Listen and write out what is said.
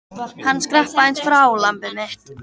Hann skrapp aðeins frá, lambið mitt.